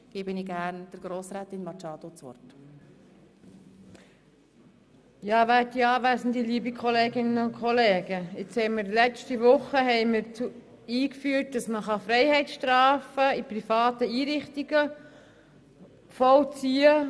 Gemäss unserem Entscheid von vergangener Woche ist es möglich in privaten Einrichtungen Freiheitsstrafen zu vollziehen.